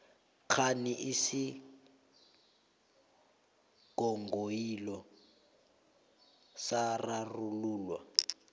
kghani isinghonghoyilo sararululwa